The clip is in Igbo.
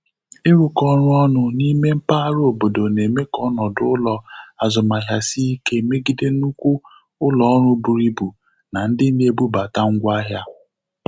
Ịrụkọ ọrụ ọnụ n'ime mpaghara obodo na-eme ka ọnọdụ ụlọ azụmahịa sie ike megide nnukwu ụlọ ọrụ buru ibu na ndi na-ebubata ngwa ahịa.